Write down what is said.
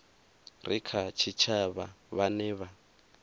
re kha tshitshavha vhane vha